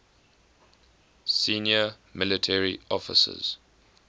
senior military officers